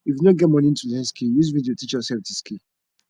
if you no get moni to learn skill use video teach yoursef di skill